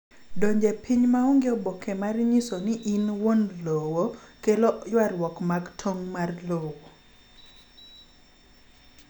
Donjo e piny maonge oboke mar nyiso ni in wuon lowo kelo ywarruok mag tong' lowo